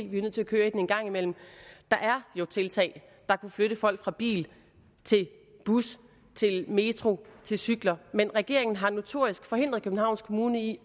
vi er nødt til at køre i den en gang imellem der er jo tiltag der kunne flytte folk fra bil til bus til metro til cykler men regeringen har notorisk forhindret københavns kommune i